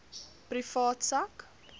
privaat sak